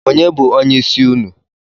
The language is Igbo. Onye bụ onyeisi ụnụ?